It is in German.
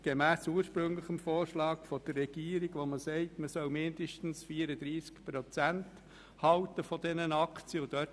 Gemäss ursprünglichem Regierungsvorschlag haben wir aber im Gesetz noch eine Bestimmung, wonach man mindestens 34 Prozent dieser Aktien halten soll.